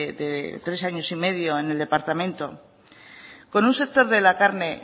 de tres años y medio en el departamento con un sector de la carne